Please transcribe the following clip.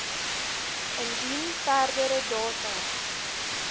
indien verdere data